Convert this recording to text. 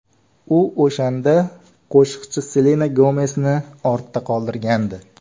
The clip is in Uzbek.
U o‘shanda qo‘shiqchi Selena Gomesni ortda qoldirgandi.